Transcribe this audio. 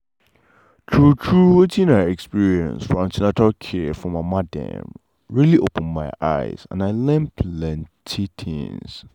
true true wetin i experience for an ten atal care for mama dem really open my eye and i learn plenty things.